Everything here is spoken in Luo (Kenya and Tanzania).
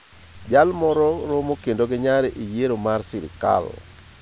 Jalmoro moro kedo gi nyare e yiero mar sirkal.